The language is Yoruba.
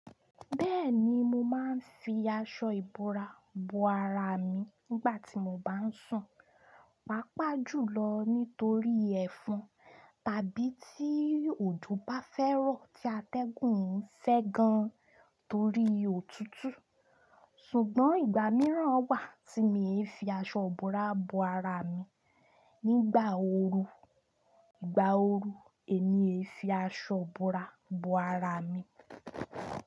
Bẹ́ẹ̀ni mo máa ń fi aṣọ ìbora bo ara mi nígbà tí mo bá ń sùn, pàápàá jùlọ nítorí ẹ̀fọn tàbí tí òjò bá fẹ́ rọ̀ tí atẹ́gùn ń ṣẹ́ gan torí òtútù. Ṣùgbọ́n ìgbà mìíràn wà tí mi e fi aṣọ ìbora bo ara mi, nígbà ooru, ìgbà ooru èmi e fi aṣọ ìbora bo ara mi.